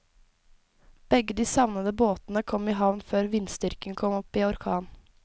Begge de savnede båtene kom i havn før vindstyrken kom opp i orkan.